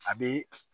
A bɛ